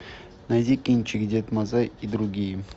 найди кинчик дед мазай и другие